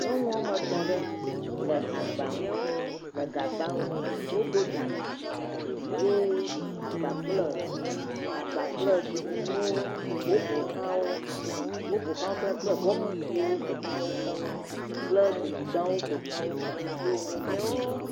Nyɔnu woame etɔ ɖe le agba nu le gbã nu. Wodo dzalẽ tsi ye agba kple, agba kple tsikunuwo woƒo xlã, woƒo xlã wò kple bɔkiti siwo ƒoxlã wò keŋ kple gudugbawo ƒoxlã wò keŋ. Wo nuwo me klɔm.